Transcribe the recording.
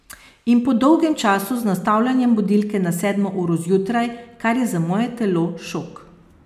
In po dolgem času z nastavljanjem budilke na sedmo uro zjutraj, kar je za moje telo šok.